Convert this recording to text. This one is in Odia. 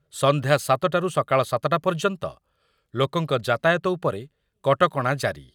ସଂଧ୍ୟା ସାତ ଟାରୁ ସକାଳ ସାତ ଟା ପର୍ଯ୍ୟନ୍ତ ଲୋକଙ୍କ ଯାତାୟାତ ଉପରେ କଟକଣା ଜାରି